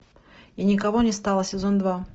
и никого не стало сезон два